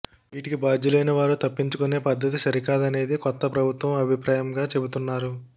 వీటికి బాధ్యులైన వారు తప్పించుకునే పద్ధతి సరికాదనేది కొత్త ప్రభుత్వ అభిప్రాయంగా చెబుతున్నారు